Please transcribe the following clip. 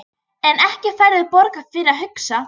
En ekki færðu borgað fyrir að hugsa?